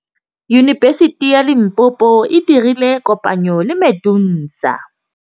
Yunibesiti ya Limpopo e dirile kopanyô le MEDUNSA.